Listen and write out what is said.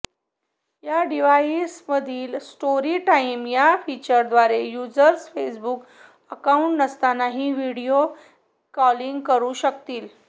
या डिव्हाईसमधील story time या फीचरद्वारे युजर्स फेसबुक अकाउंट नसतानाही व्हिडिओ कॉलिंग करु शकतील